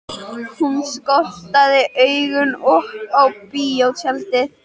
Hún skotraði augunum upp á bíótjaldið.